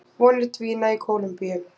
Vonir dvína í Kólumbíu